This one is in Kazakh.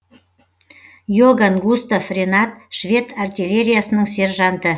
иоган густав ренат швед артиллериясының сержанты